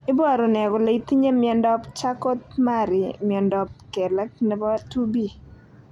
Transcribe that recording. Iporu ne kole itinye miondap Charcot Marie Miondap kelek nepo 2B?